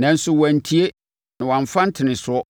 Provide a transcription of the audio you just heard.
nanso wɔantie na wɔammfa ntenesoɔ.